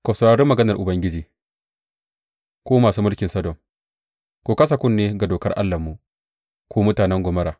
Ku saurari maganar Ubangiji, ku masu mulkin Sodom; ku kasa kunne ga dokar Allahnmu, ku mutanen Gomorra!